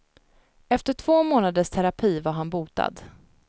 Efter två månaders terapi var han botad.